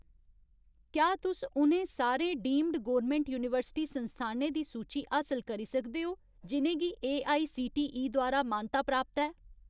क्या तुस उ'नें सारे डीम्ड गौरमैंट यूनिवर्सिटी संस्थानें दी सूची हासल करी सकदे ओ जि'नें गी एआईसीटीई द्वारा मानता प्राप्त ऐ ?